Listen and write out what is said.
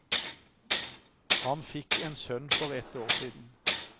Han fikk en sønn for ett år siden.